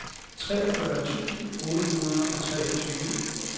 treogfyrre tusind otte hundrede og treogtyve